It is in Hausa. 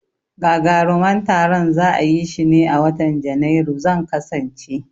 Gagaruman taron za'a yishi ne a watan Janairu, zan kasance